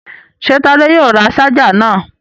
Ṣé Tádé yóò ra ṣáájà náà?